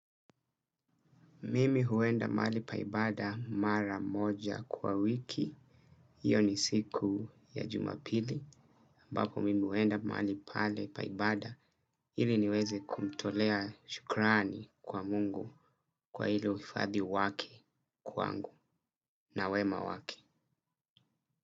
Mimi huenda mahali pa ibada mara moja kwa wiki. Iyo ni siku ya jumapili. Ambapo mimi huenda mahali pale pa ibada. Ili niweze kumtolea shukrani kwa Mungu kwa ilo ufadhi wake kwangu na wema wake.